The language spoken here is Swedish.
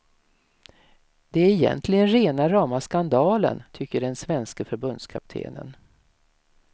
Det är egentligen rena rama skandalen, tycker den svenske förbundskaptenen.